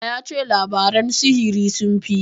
A'a, ya ce labaran sihiri sun fi.